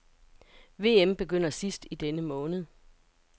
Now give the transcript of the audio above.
VM begynder sidst i denne måned.